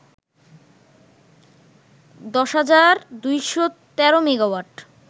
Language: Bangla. ১০,২১৩ মেগাওয়াট